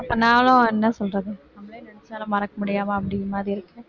அப்ப நானும் என்ன சொல்றது நம்மளே நினைச்சாலும் மறக்க முடியாம அப்படிங்கிற மாதிரி இருக்கு